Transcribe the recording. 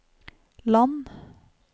land